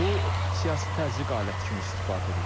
Bu siyasi təzyiq aləti kimi istifadə edilir.